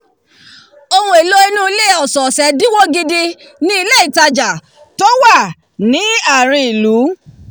ohun èlò inú ilé ọ̀sọ̀ọ̀sẹ̀ dínwó gidi ni ilé ìtajà tuntun tó wà ní àárín ìlú